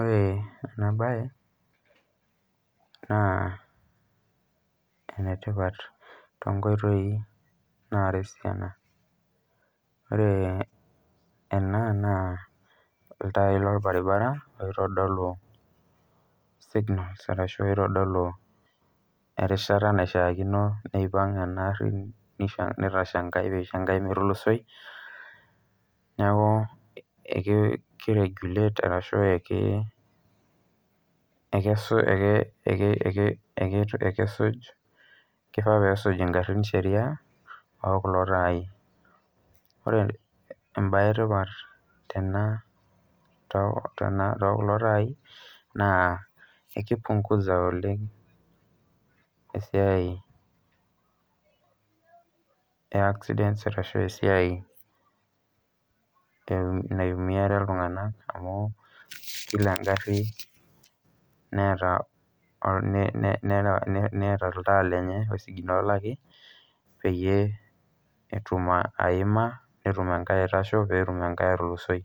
Ore ena mbae naa enetipat tonkoitoi naata esiana ore ena naa ilntai loorbaribara oitodulu signals arashu oitodolu erishata naishakino peipag ena gari nitashe enkae peisho enge metulusoi neeku kiregulate arashu kifaa kpesuj garin sheria okulo tai ore mbae etipat too kulo tai naa ekipunguza oleng esiai ee accidents arashu esiai naumiare iltung'ana amu kila egari Neeta olntaa lenye olsiginolaki pee etum ayima netum enkae aitasho pee etum enae atulusoi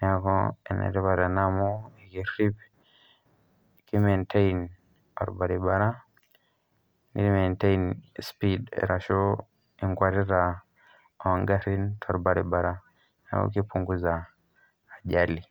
neeku enetipat ena amu kerip arashu kimentain orbaribara nimentain speed arashu enkwetita oo garin[cd]torbaribara neeku kupunguza ajali